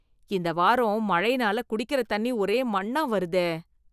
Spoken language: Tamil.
இந்த வாரம் மழைனால குடிக்கற தண்ணி ஒரே மண்ணா வருதே.